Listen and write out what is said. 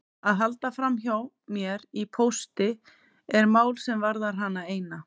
Að halda framhjá mér í pósti er mál sem varðar hana eina.